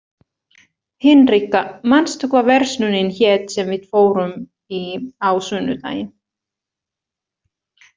Hinrikka, manstu hvað verslunin hét sem við fórum í á sunnudaginn?